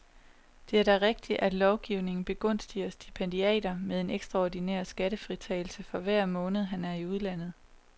Det er da rigtigt, at lovgivningen begunstiger stipendiaterne med en ekstraordinær skattefritagelse for hver måned han er i udlandet.